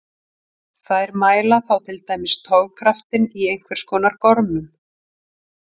Þær mæla þá til dæmis togkraftinn í einhvers konar gormum.